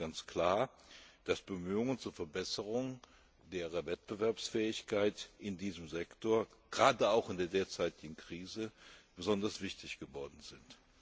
Also ist es ganz klar, dass Bemühungen zur Verbesserung der Wettbewerbsfähigkeit in diesem Sektor gerade auch in der derzeitigen Krise besonders wichtig geworden sind.